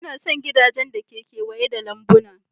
Ina son gidajen da ke kewaye da lambuna.